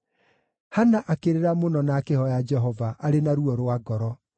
Hana akĩrĩra mũno na akĩhooya Jehova, arĩ na ruo rwa ngoro.